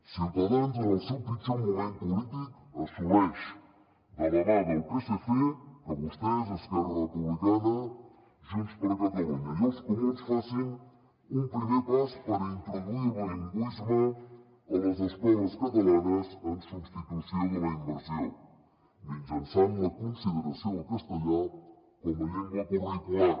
ciutadans en el seu pitjor moment polític assoleix de la mà del psc que vostès esquerra republicana junts per catalunya i els comuns facin un primer pas per introduir el bilingüisme a les escoles catalanes en substitució de la immersió mitjançant la consideració del castellà com a llengua curricular